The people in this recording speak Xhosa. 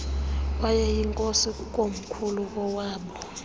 wayeyinkosi kukomkhulu kowaaboo